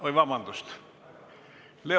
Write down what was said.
Oi, vabandust!